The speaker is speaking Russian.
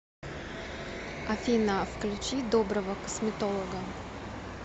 афина включи доброго косметолога